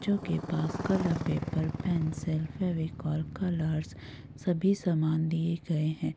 चों के पास colour paper pencil Fevicol colours सभी सामान दिए गए हैं।